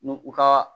N'u u ka